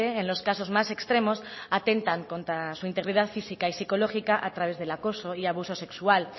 en los casos más extremos atentan contra su integridad física y psicológica a través del acoso y abuso sexual